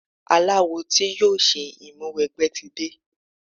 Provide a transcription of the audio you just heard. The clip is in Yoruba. Aláwo tí yóò ṣe ìmúwẹgbẹ́ tí de.